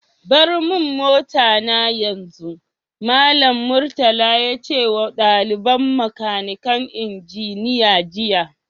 Bar mun mota na yanzu! Mallam Murtala ya ce ma dalibain makanikal injiniya jiya.